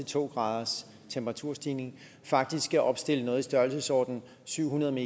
to graders temperaturstigning faktisk skal opstille noget i størrelsesordenen syv hundrede